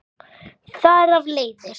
þar af leiðir